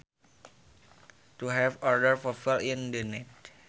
to help other people in need